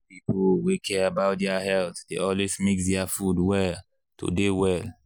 people wey care about their health dey always mix their food well to dey well.